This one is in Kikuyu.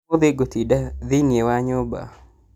ũmũthĩ ngũtinda thĩiniĩ wa nyũmba